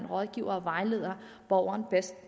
rådgive og vejlede borgeren bedst